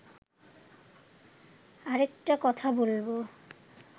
আরেকটা কথা বলব